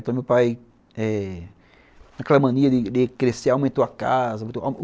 Então meu pai eh, com aquela mania de crescer, aumentou a casa.